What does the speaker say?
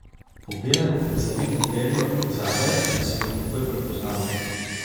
Po belem zavitem perju zadaj sem jo takoj prepoznala.